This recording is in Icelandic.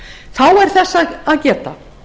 þá er þess að geta